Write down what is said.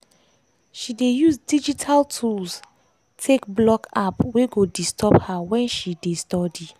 she dey use digital tools take block app wey go disturb her wen she dey study.